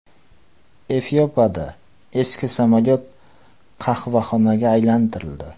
Efiopiyada eski samolyot qahvaxonaga aylantirildi.